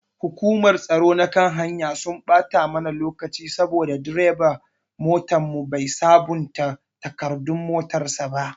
Hukumar tsaro na kan hanya sun ɓata mana lokaci saboda direban motanmu bai sabonta takardun motan sa ba.